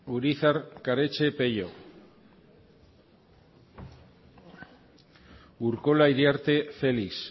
urizar karetxe pello urkola iriarte felix